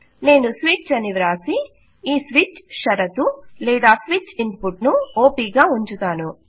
నేను స్విచ్ అని వాసి ఈ స్విచ్ షరతు లేదా స్విచ్ ఇన్పుట్ ను ఆప్ గా ఉంచుతాను